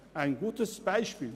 Ein gutes Beispiel!